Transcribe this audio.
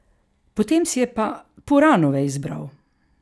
Potem si je pa puranove izbral.